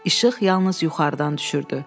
İşıq yalnız yuxarıdan düşürdü.